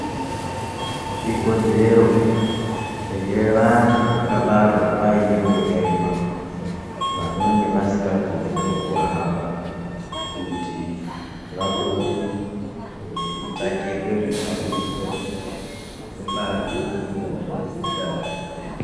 Ikodzero yevanthu vakabarwa vaine urema, vanonge vasikakoniwo kuhamba, kuti vapote veitsvakirwe zvihambiso, ngebazi rinoite ngezveutano.